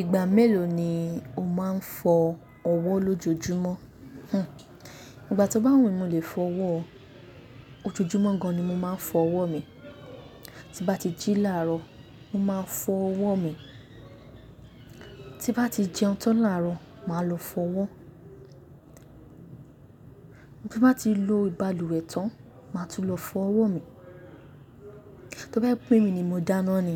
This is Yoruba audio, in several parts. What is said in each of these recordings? Ìgbà mélòó ni o máa ń fọ ọwọ́ lójoojúmọ́? Hmm. Ìgbà tí ó bá wù mí mo lè fọ ọwọ́ o. Ojoojúmọ́ gan ni mo máa ń fọ ọwọ́ mi. Tí n bá ti jí láàrọ́, mo máa fọ ọwọ́ mi. Tí n bá ti jẹun tán láàrọ̀, màá lọ fọ ọwọ́. Tí bá ti lò balùwẹ̀ tán, màá tún lọ fọ ọwọ́ mi. Tí bá jẹ́ pè èmí ni mo dáná ni,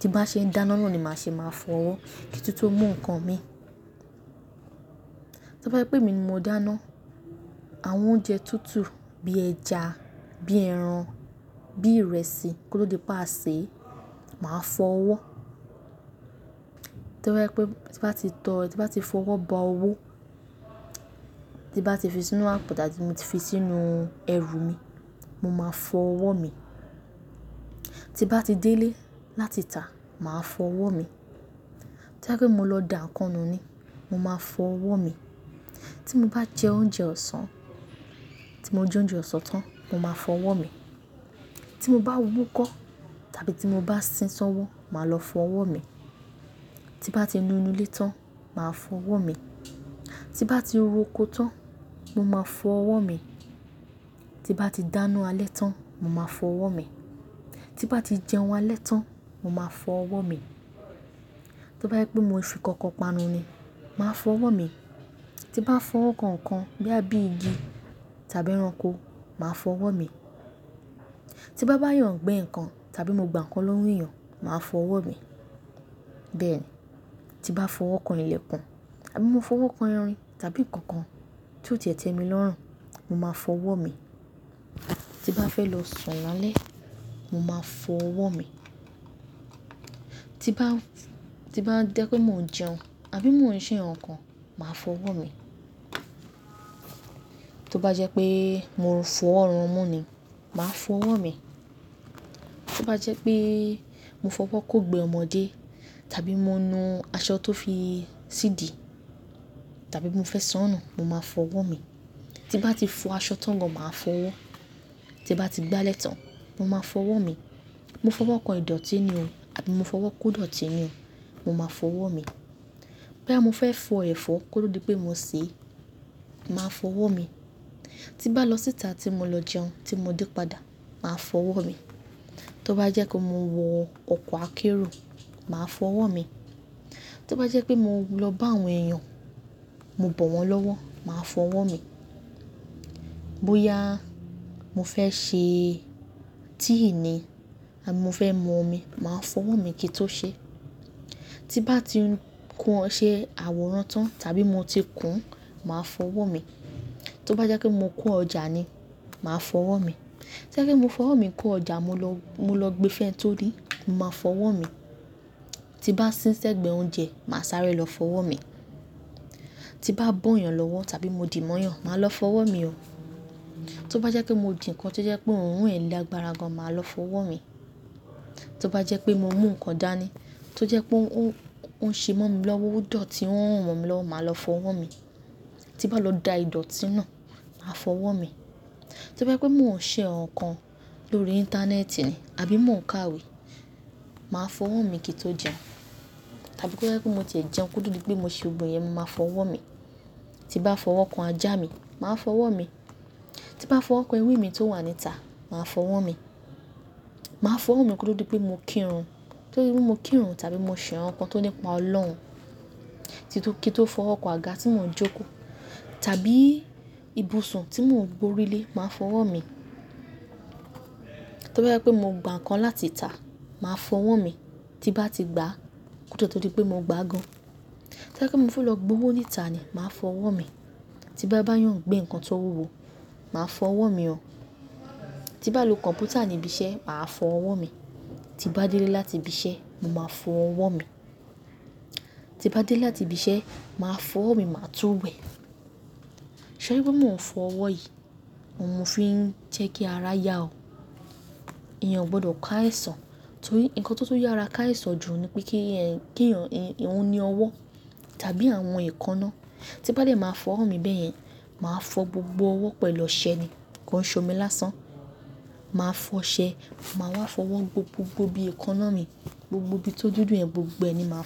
tí n bá ṣe ń dáná náà ni màá ṣe máa fọ ọwọ́ kí n tún tú mú nǹkan mi. Tí bá jẹ́ pè èmí ni mo dáná, àwọn oúnjẹ tútù bí ẹja, bí ẹran, bí ìrẹsì, kó tó di pé a ṣèé, màá fọ ọwọ́. Tó bá jẹ́ pè tí n bá ti tọ́, tí n bá ti fọ ọwọ́ ba owó, tí n bá ti fi sínú àpò tàbí mo ti fi sínú ẹrù mi, mo máa fọ ọwọ́ mi. Tí n bá ti délé láti tà, màá fọ ọwọ́ mi. Tí bá jẹ́ pè mo lọ dà nkan nù ni, mo máa fọ ọwọ́ mi. Tí mo bá jẹ oúnjẹ ọ̀sán, tí mo jẹ oúnjẹ ọ̀sán tán, mo máa fọ ọwọ́ mi. Tí mo bá húkọ́ tàbí tí mo bá sín ṣọ́wọ́, màá lọ fọ ọwọ́ mi. Tí n bá ti nù inú ilé tán, màá fọ ọwọ́ mi. Tí bá ti roko tán, mo máa fọ ọwọ́ mi. Tí bá ti dáná alẹ́ tán, mo máa fọ ọwọ́ mi. Tí bá ti jẹun alẹ́ tán, mo máa fọ ọwọ́ mi. Tò bá jẹ́ pè mo fi nkankan panu ni, màá fọ ọwọ́ mi. Tí n bá fọwọ́ kan nkan bóyá bíi igi tàbí ẹranko, màá fọ ọwọ́ mi. Tí n bá bá èèyàn gbé nǹkan tàbí mo gbà nǹkan lọ́wọ́ èèyàn, màá fọ ọwọ́ mi. Bẹ́ẹ̀ni, tí n bá fọwọ́ kan ilẹ̀ kan àbí mo fọwọ́ kan irin tàbí nǹkan kan tí ó ti ẹ̀ tẹ́mi lọ́rùn, mo máa fọ ọwọ́ mi. Tí n bá fẹ́ lọ sùn lálẹ́, mo máa fọ ọwọ́ mi. Tí n bá, tí n bá dẹ́ pé mò ń jẹun àbí mò ń ṣe nǹkan, màá fọ ọwọ́ mi. Tó bá jẹ́ pé mo fọwọ́ run imú ni, màá fọ ọwọ́ mi. Tó bá jẹ́ pé mo fọwọ́ kó ìgbẹ́ ọmọdé tàbí mo nù aṣọ tó fi sídi tàbí mo fẹ́ sọnù, mo máa fọ ọwọ́ mi. Tí n bá ti fọ aṣọ tán gan, màá fọ ọwọ́. Tí bá ti gbá alẹ́ tán, mo máa fọ ọwọ́ mi. Mo fọwọ́ kan ìdọ̀tí ni o àbí mo fọwọ́ kó dọ̀tí ni, mo máa fọ ọwọ́ mi. Bòyá mo fẹ́ fọ ẹ̀fọ́ kó tó di pé mo sèé, màá fọ ọwọ́ mi. Tí bá lọ síta tí mo lọ jẹun tí mo dé padà, màá fọ ọwọ́ mi. Tó bá jẹ́ pé mo wọ ọkọ̀ akérò, màá fọ ọwọ́ mi. Tí ó bá jẹ́ pé mo lọ bá àwọn èèyàn, mo bọ̀ wọ́n lọ́wọ́, màá fọ ọwọ́ mi. Bóyá mo fẹ́ ṣe tíì ni àbí mo fẹ́ mú omi, màá fọ ọwọ́ mi kí i tó ṣe é. Tí n bá ti kun ọṣẹ àwòrán tán tàbí mo ti kù-ún, màá fọ ọwọ́ mi. Tó bá jẹ́ pé mo kó ọjà ni, màá fọ ọwọ́ mi. Tó bá jẹ́ pé mo fọwọ́ mi kó ọjà mo lọ, mo lọ gbé fún ẹni tó nií, mo máa fọ ọwọ́ mi. Tí n bá sín ṣi ẹ̀gbẹ́ oúnjẹ, màá sáré lọ fọ ọwọ́ mi. Tí n bá bọ́ èèyàn lọ́wọ́ tàbí mo dì mọ́ èèyàn, màá lọ fọ ọwọ́ mi o. Tó bá jẹ́ pé mo jẹ nǹkan tí ó jẹ́ pé òórùn lágbára gan, màá lọ fọ ọwọ́ mi. Tó bá jẹ́ pé mo mú nǹkan dání, tí ó jẹ́ pé ó ń ṣe mọ́ mi ò dọ̀tí, ó n rùn mọ́mi lọ́wọ́, màá lọ fọ ọwọ́ mi. Tí bá lọ dà ìdọ̀tí náà, màá fọ ọwọ́ mi. Tó bá jẹ́ pé mò ń ṣe nǹkan lórí íńtánẹ́ẹ̀tì ni àbí mò ń kàwé, màá fọ ọwọ́ mi kí i tó jẹun. Tàbí tó bá jẹ́ pé mo ti ẹ jẹun kó tó di pé mo ṣe gbogno ìyẹn, mo màá fọ ọwọ́ mi. Tí bá fọwọ́ kan ajá mi, màá fọ ọwọ́ mi. Tí n bá fọwọ́ kan ewé mi tó wà níta, màá fọ ọwọ́ mi. Màá fọ ọwọ́ mi kó tò di pé mo kírun, kó tó dí pé mo kírun tàbí mo ṣẹ̀ nǹkan tó nípa Ọlọ́run. Tí tó kí n tó fọwọ́ kan àga tí mò ń jókòó tàbí ibùsùn tí mò ń gborí lé, màá fọ ọwọ́ mi. Tó bá jẹ́ pé mo gbà nǹkan láti tà, màá fọ ọwọ́ mi. Tí n bá ti gbàá kó tó di pé mo gbàá gan. Tíó bá jẹ́ mo fẹ́ lọ gbowó níta ni, màá fọ ọwọ́ mi. Tí bá bá èèyàn gbé nǹkan tó wúwo, màá fọ ọwọ́ mi o. Tí n bá lò kọ̀m̀pútà níbi iṣẹ́, màá fọ ọwọ́ mi. Tí bá délé láti ibi iṣẹ́, mo máa fọ ọwọ́ mi. Tí n bá dél láti ibi iṣẹ́, màá fọ ọwọ́ mi, màá tún wẹ̀. Torí pé mo ò ń fọ ọwọ́ yìí, òun mo fi ń jẹ́ kí ara yá o. Ẹ̀yàn ò gbọdọ̀ kó àìsàn. Torí nǹkan tó tún yára kò àìsàn jù ni pé kí ẹ̀, kí èyàn, òun ní ọwọ́ tàbí àwọn èékáná. Tí n bá dẹ̀ màá fọ ọwọ́ mi bẹ́yẹn, màá fọ gbogbo ọwọ́ pẹ̀lú ọṣẹ ni kó ń ṣomi lásán. Màá fọ ṣẹ, màá wá fọwọ́ gbo gbogbò ibí èékáná mi, gbogbo bí tó dúdú yẹn, gbogbo ẹ ni máa fọ.